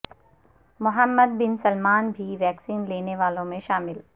محمد bin Salman بھی vaccine لینے والوں میں شامل